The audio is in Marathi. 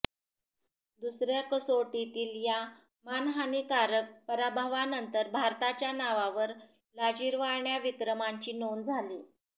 दुसर्या कसोटीतील या मानहानीकारक पराभवानंतर भारताच्या नावावर लाजिरवाण्या विक्रमांची नोंद झाली